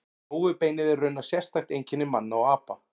Rófubeinið er raunar sérstakt einkenni manna og apa.